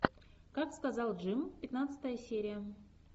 как сказал джим пятнадцатая серия